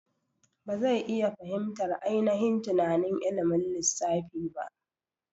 Ba zai iya fahimtar ainihin tunanin ilimin lissafi ba.